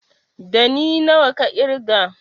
Ɗani nawa ka ƙirga?